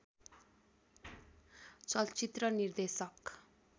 चलचित्र निर्देशक